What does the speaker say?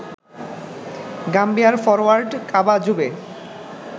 গাম্বিয়ার forward Kaba জুবে